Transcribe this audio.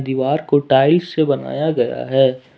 दीवार को टाइल्स से बनाया गया है।